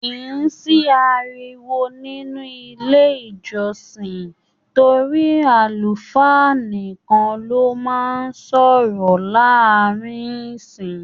Kì í sí ariwo nínú ilé ìjọsìn torí àlùfáà nìkan ló máa ń sọ̀rọ̀ láàárín ẹ̀ṣìn.